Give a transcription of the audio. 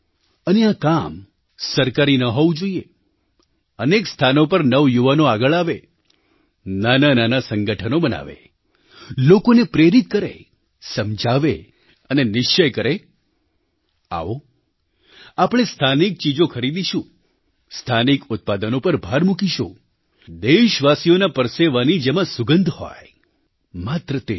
અને આ કામ સરકારી ન હોવું જોઈએ અનેક સ્થાનો પર નવયુવાનો આગળ આવે નાનાંનાનાં સંગઠનો બનાવે લોકોને પ્રેરિત કરે સમજાવે અને નિશ્ચય કરે આવો આપણે સ્થાનિક ચીજો ખરીદીશું સ્થાનિક ઉત્પાદનો પર ભાર મૂકીશું દેશવાસીઓના પરસેવાની જેમાં સુગંધ હોય માત્ર તે જ